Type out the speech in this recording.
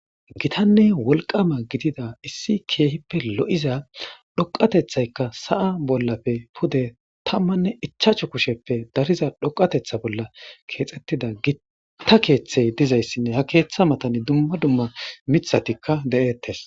Giitane woliqama gidida issi kehippe loizza dhoqqatethaka sa'a bollappe pude tammane ichchasu kusheppe darizza dhoqateththa bolla kexxetida gitta keththey diizaysi ha keththa mattan dumma dumma miththatika de'ettes.